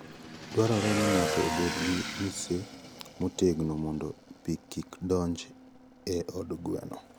Dwarore ni ng'ato obed gi mise motegno mondo pi kik donj e od gweno.